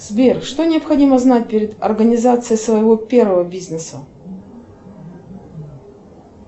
сбер что необходимо знать перед организацией своего первого бизнеса